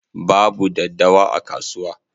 Babu daddawa a kasuwa.